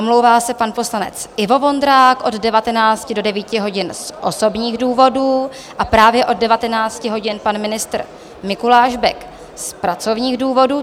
Omlouvá se pan poslanec Ivo Vondrák od 19 do 9 hodin z osobních důvodů a právě od 19 hodin pan ministr Mikuláš Bek z pracovních důvodů.